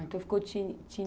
Então ficou Tini Tini?